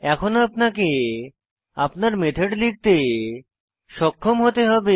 এখন আপনাকে আপনার মেথড লিখতে সক্ষম হতে হবে